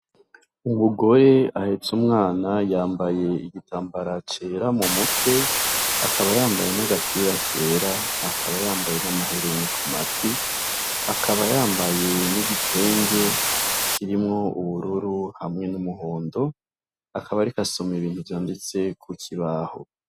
Umugore ahetse umwana yambaye igitambara cera mu mutwe akaba yambaye n'agapira kera akaba yambaye n'amahereni ku matwi. Akaba yambaye n'igitenge kirimwo ubururu hamwe n'umuhondo, akaba ariko asoma ibintu vyanditse ku kibaho.